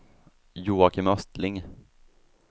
Joakim Östling